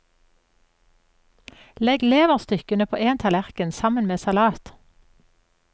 Legg leverstykkene på en tallerken sammen med salat.